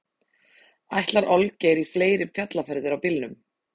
Ætlar Olgeir í fleiri fjallferðir á bílnum?